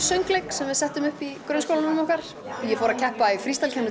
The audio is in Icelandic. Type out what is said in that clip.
söngleik sem við settum upp í grunnskólanum okkar ég fór að keppa í